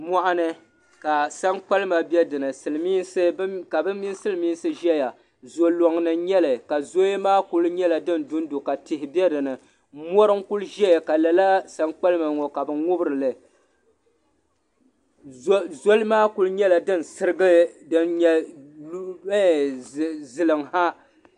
Mɔɣuni ka sankpalima be dini ka bɛ mini Silimiinsi ʒiya zo'lɔŋ ni n-nyɛ li ka zoya maa kuli nyɛla din du n-du ka tihi be dini mɔri n-kuli ʒeya ka sankpalima maa ŋubiri li zoli maa kuli nyɛla din sirigi din nyɛ ziliŋ ha.